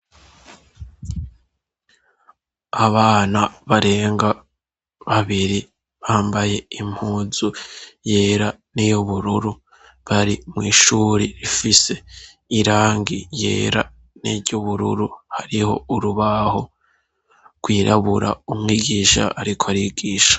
Abana barenga babiri bambaye impuzu yera n'i yubururu bari mw'ishuri rifise irangi yera niryoubururu hariho urubaho rwirabura umwigisha, ariko ariggwe.